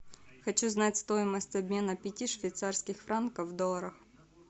хочу знать стоимость обмена пяти швейцарских франков в долларах